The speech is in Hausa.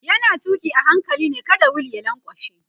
yana tuki a hankali ne kada wheel ya lankwashe